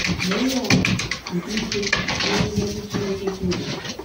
Nye ihe atụ nke ike dị n’ihe ndị Chineke keworo